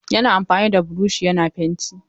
Yana amfani da buroshi yana fenti.